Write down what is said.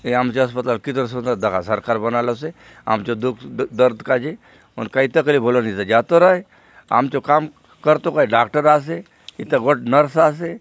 ये आमचो अस्पताल कितरो सुंदर दखा सरकार बनालोसे आमचो दुःख दर्द काजे हुन काई तकलीफ होलो ने एथा जातोर आय आमचो काम करतो काजे डॉक्टर आसेएथा गोटे नर्स आसे।